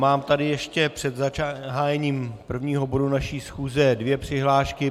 Mám tady ještě před zahájením prvního bodu naší schůze dvě přihlášky.